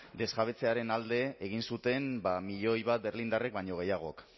desjabetzearen alde egin zuten milioi bat berlindarrek baino gehiagok